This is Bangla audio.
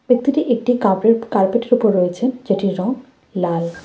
ব্যক্তিটি একটি কাপেট কার্পেট -এর উপর রয়েছে যেটির রং লাল।